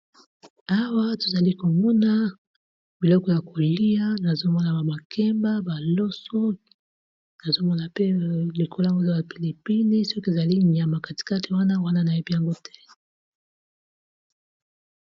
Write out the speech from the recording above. Awa tozali komona biloko ya kolia nazomona ba makemba ba loso nazomona pe likola ngo eza ba pilipili soki ezali nyama katikati wana wana nayebi yango te.